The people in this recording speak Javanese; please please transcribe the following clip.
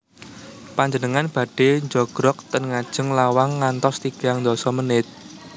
Panjenengan badhe njogrog ten ngajeng lawang ngantos tigang ndasa menit?